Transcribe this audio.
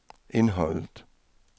indholdet